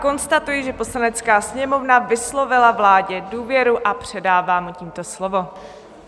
Konstatuji, že Poslanecká sněmovna vyslovila vládě důvěru, a předávám mu tímto slovo.